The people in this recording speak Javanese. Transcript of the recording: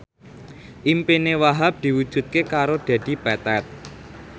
impine Wahhab diwujudke karo Dedi Petet